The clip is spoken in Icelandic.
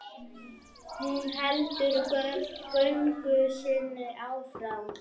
Hún heldur göngu sinni áfram.